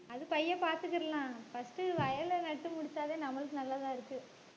அது பையை பார்த்துக்கிடலாம் first உ வயல்ல நட்டு முடிச்சாவே நம்மளுக்கு நல்லதா இருக்கு.